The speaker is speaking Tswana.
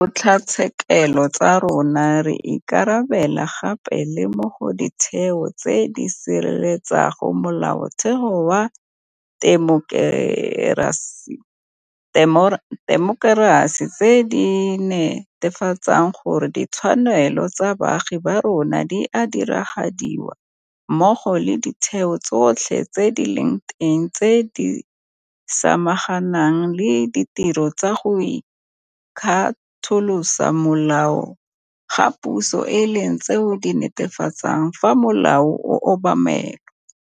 Ntle le dikgotlatshekelo tsa rona, re ikarabela gape le mo go Ditheo tse di Sireletsang Mola-otheo wa Temokerasi tse di ne-tefatsang gore ditshwanelo tsa baagi ba rona di a diragadiwa mmogo le ditheo tsotlhe tse di leng teng tse di samaganang le ditiro tsa go ikgatolosa molao ga puso e leng tseo di netefatsang fa molao o obamelwa.